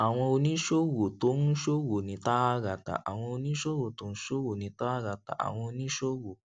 àwọn oníṣòwò tó ń ṣòwò ní tààràtà àwọn oníṣòwò tó ń ṣòwò ní tààràtà àwọn oníṣòwò